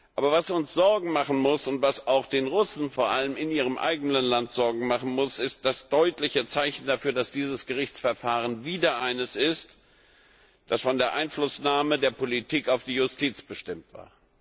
Aber was uns Sorgen machen muss und was auch den Russen vor allem in ihrem eigenen Land Sorgen machen muss, ist das deutliche Zeichen dafür, dass dieses Gerichtsverfahren wieder eines ist, das von der Einflussnahme der Politik auf die Justiz bestimmt war.